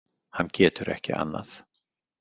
Hann getur ekki annað.